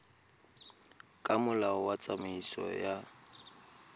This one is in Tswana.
ka molao wa tsamaiso ya